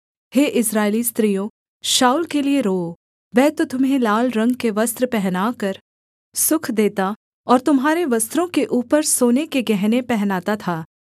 हे इस्राएली स्त्रियों शाऊल के लिये रोओ वह तो तुम्हें लाल रंग के वस्त्र पहनाकर सुख देता और तुम्हारे वस्त्रों के ऊपर सोने के गहने पहनाता था